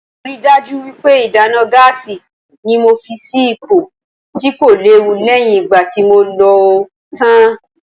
Mo ríi dájú wípé ìdáná gáásì ni mo fi sì ipò tí kò léwu lẹ́yìn ìgbà tí mo lòó tán.